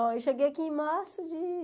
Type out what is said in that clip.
Eu cheguei aqui em março de